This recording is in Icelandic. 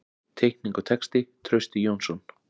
Teikning og texti: Trausti Jónsson.